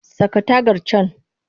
Saka tagar can!